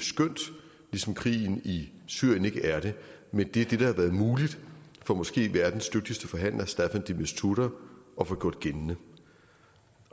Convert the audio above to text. skønt ligesom krigen i syrien ikke er det men det er det der har været muligt for måske verdens dygtigste forhandler staffan de mistura at få gjort gældende